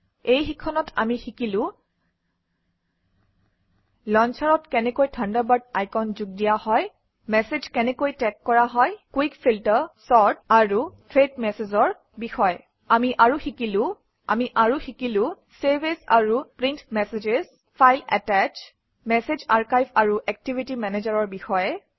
এই শিক্ষণত আমি শিকিলো লঞ্চাৰত কেনেকৈ থাণ্ডাৰবাৰ্ড আইকন যোগ দিয়া হয় আমি আৰু শিকিলো চেভ এজ আৰু print message file attach message archive আৰু একটিভিটি মেনেজাৰৰ বিষয়ে